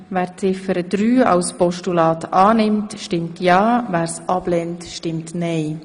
Wer Ziffer drei als Postulat annehmen will, stimmt ja, wer sie ablehnt, stimmt nein.